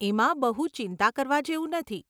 એમાં બહુ ચિંતા કરવા જેવું નથી.